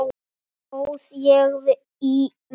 Þar óð ég í villu.